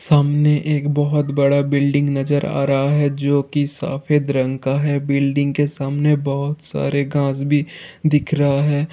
सामने एक बहुत बड़ा बिल्डिंग नज़र आ रहा है जोकि सफ़द रंगे का है| बिल्डिंग के सामने बहुत सारा घास भी दिख रहा है।